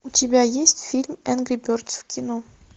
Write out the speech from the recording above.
у тебя есть фильм энгри бердс в кино